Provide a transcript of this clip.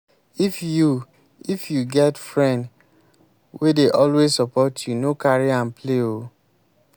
if you if you get friend wey dey always support you no carry am play oo.